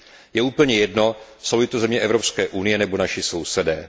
Je úplně, jedno jsou li to země Evropské unie nebo naši sousedé.